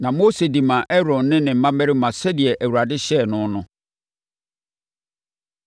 Na Mose de maa Aaron ne ne mmammarima sɛdeɛ Awurade hyɛɛ no no.